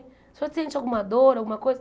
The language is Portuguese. O senhor sente alguma dor, alguma coisa?